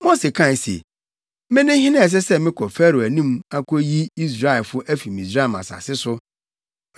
Mose kae se, “Mene hena a ɛsɛ sɛ mekɔ Farao anim akoyi Israelfo afi Misraim asase so?”